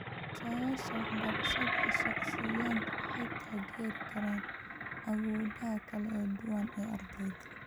Qorshayaasha waxbarashada shaqsiyeed waxay taageeri karaan awoodaha kala duwan ee ardayda.